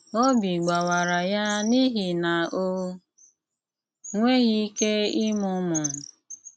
Ọ́bí gbàwárà yá n’íhì ná ó nwéghi íké ímụ ụmụ́.